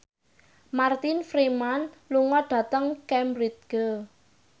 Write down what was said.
Martin Freeman lunga dhateng Cambridge